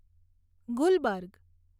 Gulberg